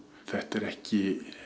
þetta er ekki